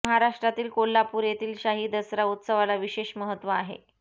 महाराष्ट्रातील कोल्हापूर येथील शाही दसरा उत्सवाला विशेष महत्त्व आहे